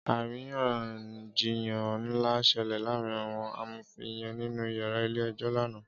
Árinyànjiyán nlá ṣèlè làárin áwòn àmófin yèn ninú iyàrá ilé èjò làná